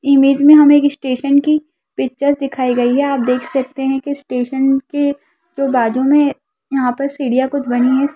Image में हमें एक स्टेशन की पिक्चर दिखाई गई है आप देख सकते हैं की स्टेशन के जो बाजु में यहाँ पर सीढ़ियाँ कुछ बनी है।